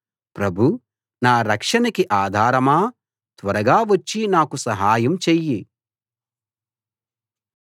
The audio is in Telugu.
ప్రభూ నా రక్షణకి ఆధారమా త్వరగా వచ్చి నాకు సహాయం చెయ్యి